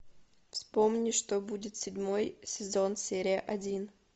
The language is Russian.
вспомни что будет седьмой сезон серия один